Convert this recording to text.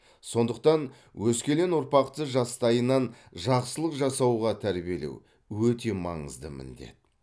сондықтан өскелең ұрпақты жастайынан жақсылық жасауға тәрбиелеу өте маңызды міндет